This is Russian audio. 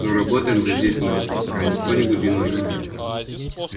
но работаем-то здесь мы а не кто-нибудь иной